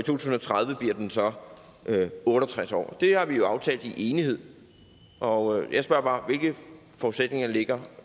tusind og tredive bliver den så otte og tres år det har vi jo aftalt i enighed og jeg spørger bare hvilke forudsætninger ligger